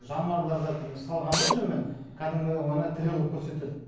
жануарларды салғанда жүнмен кәдімгідей оны тірі қылып көрсетеді